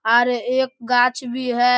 आर एक गाछ भी है।